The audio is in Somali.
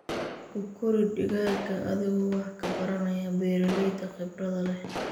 Ku kori digaaga adigoo wax ka baranaya beeralayda khibrada leh.